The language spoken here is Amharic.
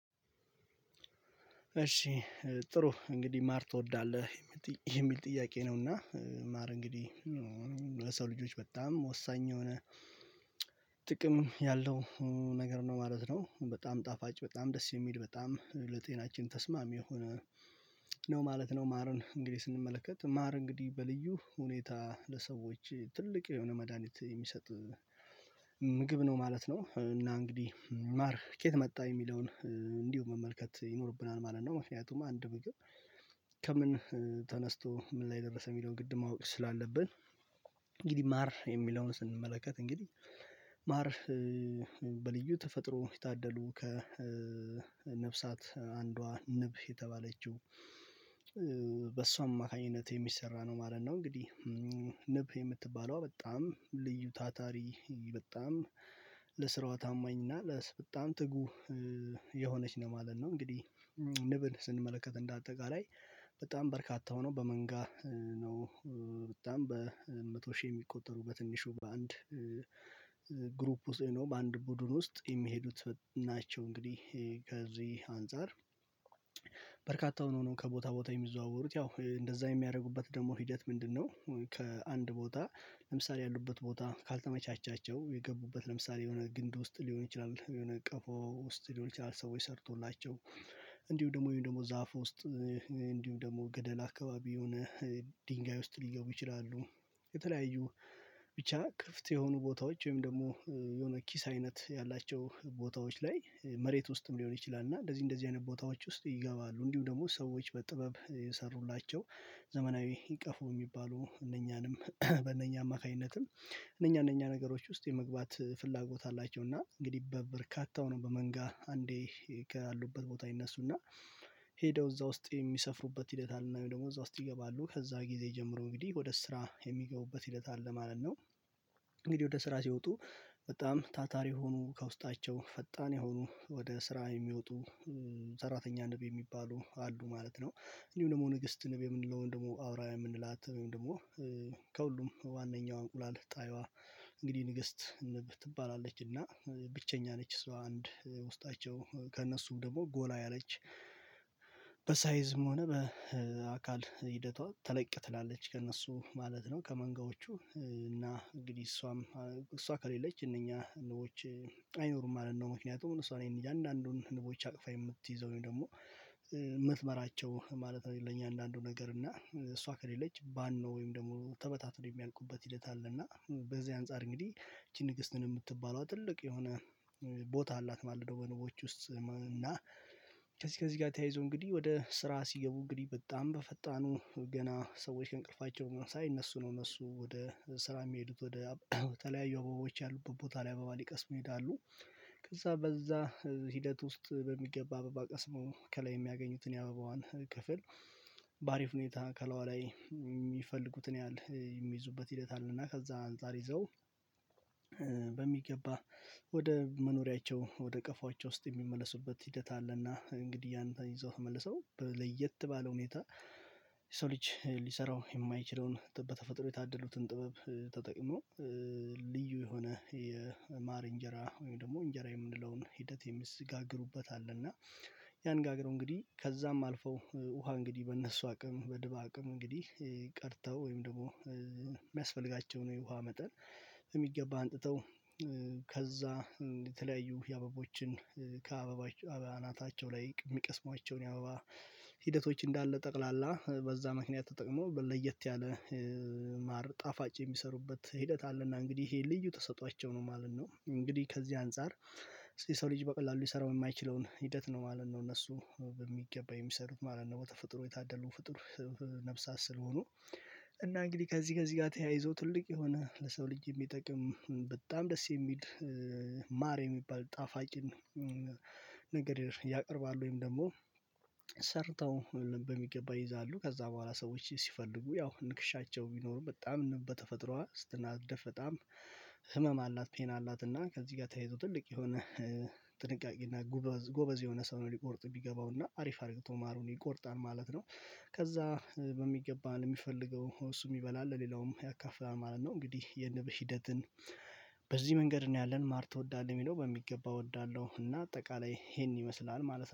እሺ። ጥሩ እንግዲህ ማር ትወዳለህ? የሚል ጥያቄ ነውና ማር እንግዲህ ለሰው ልጆች በጣም ወሳኝ የሆነ ጥቅም ያለው ነገር ነው ማለት ነው። በጣም ጣፋጭ በጣም ደስ የሚል በጣም ለጤናችን ተስማሚ የሆነ ነው ማለት ነው። ማርን እንግዲህ ስንመለከት ማር እንግዲህ በልዩ ሁኔታ ለሰዎች ትልቅ የሆነ መድሃኒት የሚሰጥ ምግብ ነው ማለት ነው። እና እንግዲህ ማር ከየት መጣ የሚለውን እንዲሁ መመልከት ይኖርብናል ማለት ነው። ምክንያቱም አንድ ብቅር ከምን ተነስቶ ምን ላይ ደረሰ የሚለውን ግድ ማወቅ ስላለብን። እንግዲህ ማር የሚለውን ስንመለከት እንግዲህ ማር በልዩ ተፈጥሮ የታደሉ ከነፍሳት አንዷ ንብ የተባለችው በሷም አማካኝነት የሚሰራ ነው ማለት ነው። እንግዲህ ንብ የምትባለዋ በጣም ልዩ ታታሪ በጣም ለስራዋ ታማኝና ለስ በጣም ትጉ የሆነች ነው ማለት ነው። እንግዲህ ንብል ስንመለከት እንደ አጠቃላይ በጣም በርካታው ነው በመንጋ ነው በጣም በመቶ ሺህ የሚቆጠሩ በትንሹ በአንድ ግሩፕ ውስጥ በአንድ ቡድን ውስጥ የሚሄዱት ናቸው። እንግዲህ ከዚህ አንፃር በርካታ ሆኖ ከቦታ ቦታ የሚዘዋወሩት ያው እንደዛ የሚያደርጉበት ደግሞ ሂደት ምንድነው? ከአንድ ቦታ ለምሳሌ ያሉበት ቦታ ካልተመቻቸው የገቡበት ለምሳሌ የሆነ ግንድ ውስጥ ሊሆን ይችላል የሆነ ቀፎ ውስጥ ሊሆን ይችላል ሰዎች ሰርቶላቸው እንዲሁ ደግሞ ወይም ደግሞ ዛፍ ውስጥ እንዲሁ ደግሞ ገደል አካባቢ የሆነ ድንጋይ ውስጥ ሊገቡ ይችላሉ። የተለያዩ ብቻ ክፍት የሆኑ ቦታዎች ወይም ደግሞ የሆነ ኪስ አይነት ያላቸው ቦታዎች ላይ መሬት ውስጥም ሊሆን ይችላል እና እንደዚህ እንደዚህ አይነት ቦታዎች ውስጥ ይገባሉ እንዲሁ ደግሞ ሰዎች በጥበብ የሰሩላቸው ዘመናዊ ቀፎ የሚባሉ እነኛንም በእነኛ አማካኝነትም እነኛ እነኛ ነገሮች ውስጥ የመግባት ፍላጎት አላቸው። እና እንግዲህ በርካታ ነው በመንጋ አንዴ ከያሉበት ቦታ ይነሱ ሄደው እዛ ውስጥ የሚሰፍሩበት ሂደት አለና ደግሞ እዛ ውስጥ ይገባሉ ከዛ ጊዜ ጀምሮ እንግዲህ ወደ ስራ የሚገቡበት ሂደት አለ ማለት ነው። እንግዲህ ወደ ስራ ሲወጡ በጣም ታታሪ የሆኑ ከውስጣቸው ፈጣን የሆኑ ወደ ስራ የሚወጡ ሰራተኛ ንብ የሚባሉ አሉ ማለት ነው። እንዲሁም ደግሞ ንግስት ንብ የምንለውን ደግሞ አውራውያን የምንላት ደግሞ ከሁሉም ዋናኛው እንቁላል ጣይዋ እንግዲህ ንግስት ትባላለች እና ብቸኛ ነች ሰው አንድ ውስጣቸው ከእነሱም ደግሞ ጎላ ያለች በሳይዝም ሆነ በአካል ሂደቷ ተለቅ ትላለች ከእነሱ ማለት ነው። ከመንጋዎቹ እና እንግዲህ እሷም እሷ ከሌለች እነኛ ንቦች አይኖሩም ማለት ነው። ምክንያቱም እሷ እኔ እንጃ አንዳንዱን ንቦች አቅፋ የምትይዘውኝ ደግሞ የምትመራቸው ማለት ነው ለኛ አንዳንዱ ነገር እና እሷ ከሌለች ባን ነው ወይም ደግሞ ተበታትኖ የሚያልቁበት ሂደት አለ። እና በዚህ አንፃር እንግዲህ ንግስትን የምትባለው ትልቅ የሆነ ቦታ አላት ማለደው በነቦች ውስጥ እና። ከዚህ ከዚህ ጋር ተያይዞ እንግዲህ ወደ ስራ ሲገቡ እንግዲህ በጣም በፈጣኑ ገና ሰዎች ከእንቅልፋቸው ሳይነሱ እነሱ ነው እነሱ ወደ ስራ የሚሄዱት ወደ ተለያዩ አበቦች ያሉት ቦታ ላይ አበባ ሊቀስ መሄድ አሉ። ከዛ በዛ ሂደት ውስጥ በሚገባ አበባ ቀስሞ ከላይ የሚያገኙትን የአበባዋን ክፍል በአሪፍ ሁኔታ ከሏዋ ላይ የሚፈልጉትን ያህል የሚይዙበት ሂደት አለና ከዛ አንፃር ይዘው በሚገባ ወደ መኖሪያቸው ወደ ቀፏቸው ውስጥ የሚመለሱበት ሂደት አለና እንግዲህ ያንተ ይዘው ተመልሰው ለየት ባለው ሁኔታ ሰው ልጅ ሊሰራው የማይችለውን በተፈጥሮ የታደሉትን ጥበብ ተጠቅሞ ልዩ የሆነ የማር እንጀራ ወይም ደግሞ እንጀራ የምንለውን ሂደት የሚዘጋግሩበት አለና። ያን ጋግረው እንግዲህ ከዛም አልፈው ውሃ እንግዲህ በእነሱ አቅም በድባ አቅም እንግዲህ ቀርተው ወይም ደግሞ የሚያስፈልጋቸው ነው የውሃ መጠን የሚገባ አንጥተው ከዛ የተለያዩ የአበቦችን ከአበባ አናታቸው ላይ የሚቀስሟቸውን ያበባ ሂደቶች እንዳለ ጠቅላላ በዛ ምክንያት ተጠቅሞ ለየት ያለ ማር ጣፋጭ የሚሰሩበት ሂደት አለና። እንግዲህ ይሄን ልዩ ተሰጥቷቸው ነው ማለት ነው እንግዲህ ከዚህ አንፃር የሰው ልጅ በቀላሉ ይሰራው የማይችለውን ሂደት ነው ማለት ነው። እነሱ በሚገባ የሚሰሩት ማለት ነው በተፈጥሮ የታደሉ ፍጡር ነፍሳት ስለሆኑ። እና እንግዲህ ከዚህ ከዚህ ጋር ተያይዞ ትልቅ የሆነ ለሰው ልጅ የሚጠቅም በጣም ደስ የሚል ማር የሚባል ጣፋጭን ነገር ያቀርባል። ወይም ደግሞ ሰርተው በሚገባ ይይዛሉ ከዛ በኋላ ሰዎች ሲፈልጉ ያው ንክሻቸው ቢኖሩ በጣም በተፈጥሮ እስትናደፍ በጣም ህመም አላት ፔን አላት እና ከዚህ ጋር ተያይቶ ትልቅ የሆነ እና ጎበዝ የሆነ ሰው ነው ሊቆርጥ የሚገባው እና አሪፍ አድርገው ማሩን ይቆርጣል ማለት ነው። ከዛ በሚገባን የሚፈልገው እሱ የሚበላ አለ ሌላውም ያካፍላል ማለት ነው። እንግዲህ የንብ ሂደትን በዚህ መንገድ ነው ያለን ማር ትወዳለህ? የሚለው በሚገባ እወዳለሁ እና አጠቃላይ ይሄን ይመስላል ማለት ነው